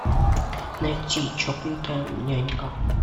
найти чокнутая нянька